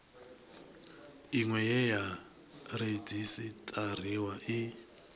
iṅwe ye ya redzisiṱariwa i